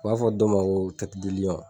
U b'a fɔ dɔ ma ko